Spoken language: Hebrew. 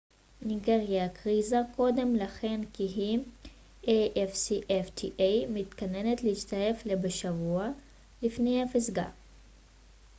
ניגריה הכריזה קודם לכן כי היא מתכננת להצטרף ל afcfta בשבוע לפני הפסגה